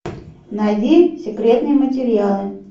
найди секретные материалы